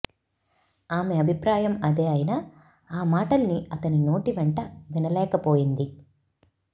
ఆమె అభిప్రాయం అదే అయినా ఆ మాటల్ని అతని నోటి వెంట వినలేకపోయింది